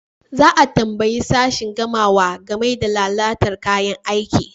Za a tambayi sashin gamawa game da lalata kayan aiki.